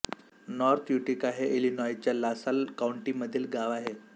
north Utica हे इलिनॉयच्या LaSalle काउंटीमधील गाव आहे